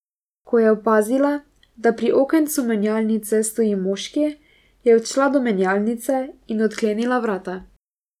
Ko je opazila, da pri okencu menjalnice stoji moški, je odšla do menjalnice in odklenila vrata.